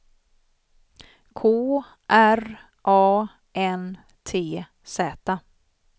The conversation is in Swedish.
K R A N T Z